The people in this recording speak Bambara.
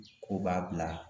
Ko b'a bila.